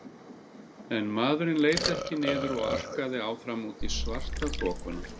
En maðurinn leit ekki niður og arkaði áfram út í svartaþokuna.